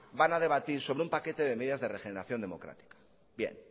van a debatir sobre un paquete de medidas de regeneración democrática